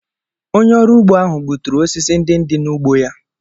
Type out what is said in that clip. Onye ọrụ ugbo ahụ gbuturu osisi ndị dị n’ugbo ya.